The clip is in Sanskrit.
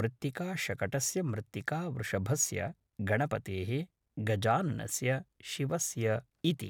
मृत्तिकाशकटस्य मृत्तिकावृषभस्य गणपतेः गजाननस्य शिवस्य इति